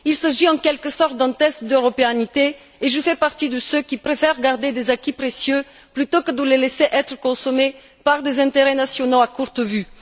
Il s'agit en quelque sorte d'un test d'européanité, et je fais partie de ceux qui préfèrent garder des acquis précieux, plutôt que de les laisser être consommés par des intérêts nationaux à courte vue.